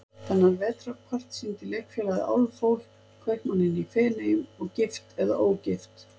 Þennan vetrarpart sýndi Leikfélagið Álfhól, Kaupmanninn í Feneyjum og Gift eða ógift?